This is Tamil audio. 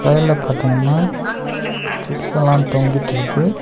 கடையில பார்த்தீங்ன்னா சிப்ஸ் எல்லா தொங்கிட்ருக்கு.